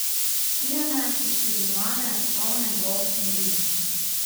Shirane, poškodovane, polne bolh in glist.